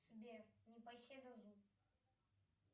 сбер непоседа зу